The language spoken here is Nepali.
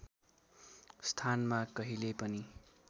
स्थानमा कहिल्यै पनि